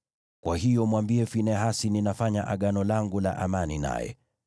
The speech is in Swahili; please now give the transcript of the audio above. Kwa hiyo mwambie Finehasi ninafanya Agano langu la amani naye.